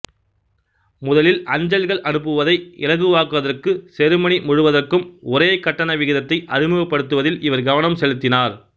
முதலில் அஞ்சல்கள் அனுப்புவதை இலகுவாக்குவதற்காக செருமனி முழுவதற்கும் ஒரே கட்டண விகிதத்தை அறிமுகப்படுத்துவதில் இவர் கவனம் செலுத்தினார்